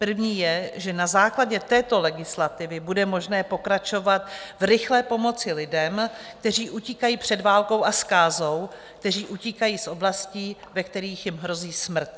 První je, že na základě této legislativy bude možné pokračovat v rychlé pomoci lidem, kteří utíkají před válkou a zkázou, kteří utíkají z oblastí, ve kterých jim hrozí smrt.